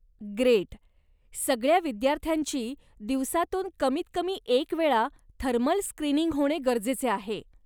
Great! सगळ्या विद्यार्थ्यांची दिवसातून कमीत कमी एक वेळा थर्मल स्क्रीनिंग होणे गरजेचे आहे.